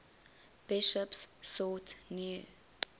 bishops sought new